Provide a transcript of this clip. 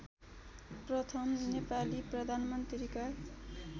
प्रथम नेपाली प्रधानमन्त्रीका